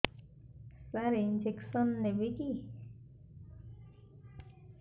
ସାର injection ନେବିକି